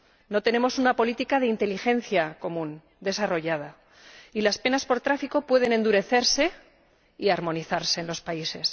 No tenemos una política de inteligencia común desarrollada y las penas por tráfico pueden endurecerse y armonizarse en los países.